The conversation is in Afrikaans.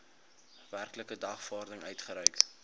werklike dagvaarding uitgereik